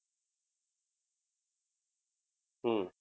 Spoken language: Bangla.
হম